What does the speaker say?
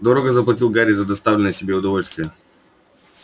дорого заплатил гарри за доставленное себе удовольствие